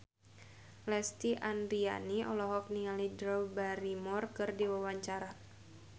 Lesti Andryani olohok ningali Drew Barrymore keur diwawancara